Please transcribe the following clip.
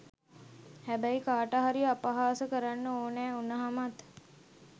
හැබැයි කාට හරි අපහාස කරන්න ඕනැ උනහමත්